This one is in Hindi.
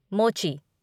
मोची